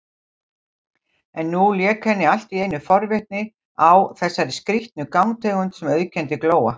En nú lék henni alltíeinu forvitni á þessari skrýtnu gangtegund sem auðkenndi Glóa.